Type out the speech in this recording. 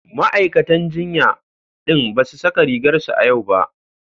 Ma'aikatan jinya din ba su saka rigar su a yau ba.